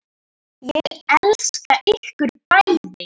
Ég elska ykkur bæði.